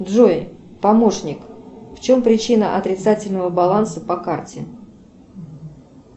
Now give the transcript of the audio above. джой помощник в чем причина отрицательного баланса по карте